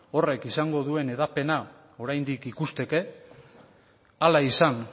horrek esango duen hedapena oraindik ikusteke ala izan